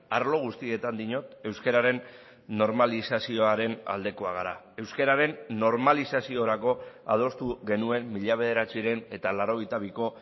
arlo guztietan diot euskararen normalizazioaren aldekoak gara euskararen normalizaziorako adostu genuen mila bederatziehun eta laurogeita biko